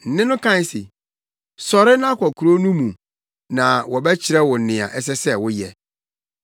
Nne no kae se, “Sɔre na kɔ kurow no mu na wɔbɛkyerɛ wo nea ɛsɛ sɛ woyɛ.”